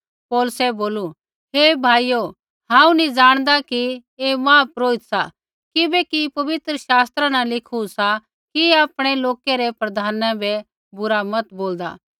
पौलुसै बोलू हे भाइयो हांऊँ नी ज़ाणदा कि ऐ महापुरोहित सा किबैकि पवित्र शास्त्रा न लिखू सा कि आपणै लोकै रै प्रधाना बै बुरा मत बोलदा